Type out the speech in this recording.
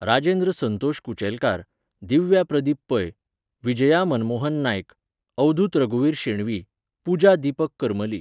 राजेंद्र संतोष कुचेलकार, दिव्या प्रदीप पै, विजया मनमोहन नायक, अवधूत रघुवीर शेणवी, पुजा दिपक करमली.